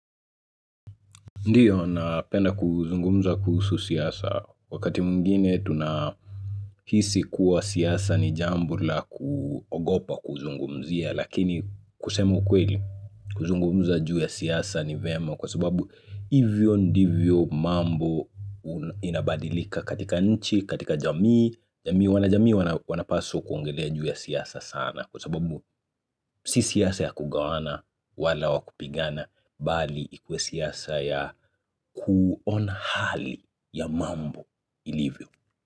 Ndiyo na penda kuzungumza kuhsu siasa wakati mwingine tunahisi kuwa siasa ni jambo la kuogopa kuzungumzia lakini kusema ukweli kuzungumza juu ya siasa ni vem kwa sababu hivyo ndivyo mambo inabadilika katika nchi katika jamii jamii wanapaswa kuongelea juu ya siasa sana kwa sababu si siasa ya kugawana wala wa kupigana bali ikuwe siasa ya kuona hali ya mambo ilivyo.